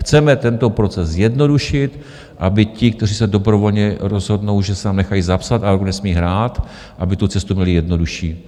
Chceme tento proces zjednodušit, aby ti, kteří se dobrovolně rozhodnou, že se tam nechají zapsat, a nesmí hrát, aby tu cestu měli jednodušší.